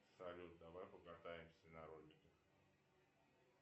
салют давай покатаемся на роликах